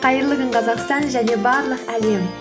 қайырлы күн қазақстан және барлық әлем